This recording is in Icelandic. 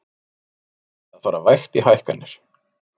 Reynt að fara vægt í hækkanir